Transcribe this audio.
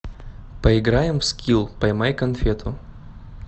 поиграем в скилл поймай конфету